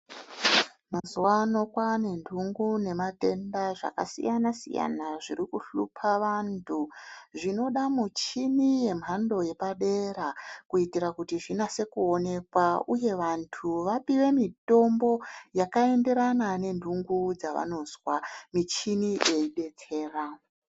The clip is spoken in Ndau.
Mazuwa ano kwaane ntungu nematenda zvakasiyana siyana zviri kuhlupa vantu Zvinoda michini yemhando yepadera kuitira kuti zvinase kuonekwa uye kuti vantu vapuwe mutombo yakaenderana nentungu dzavanozwa muchini dzeidetsera.